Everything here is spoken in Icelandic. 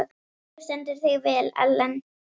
Þú stendur þig vel, Ellen!